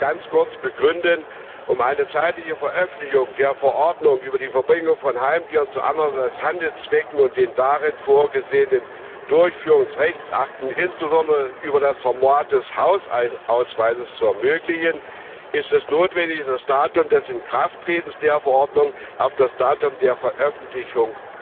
Ich will ihn nur ganz kurz begründen Um eine zeitige Veröffentlichung der Verordnung über die Verbringung von Heimtieren zu anderen als Handelszwecken und der darin vorgesehenen Durchführungsrechtsakte, insbesondere über das Format des Hausausweises, zu ermöglichen, ist es notwendig, das Datum des Inkrafttretens der Verordnung auf das Datum der Veröffentlichung